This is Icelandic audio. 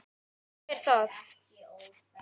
Jæja er það.